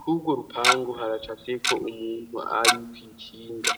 k'ubwo rupangu haraca seko umuntu ari kwikinga.